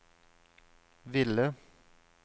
ville